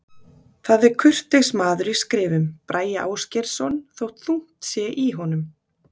Það er kurteis maður í skrifum, Bragi Ásgeirsson, þótt þungt sé í honum.